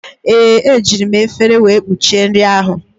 Ee, ejiri m efere wee kpuchie nri ahụ.